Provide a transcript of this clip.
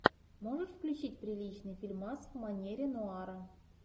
можешь включить приличный фильмас в манере нуара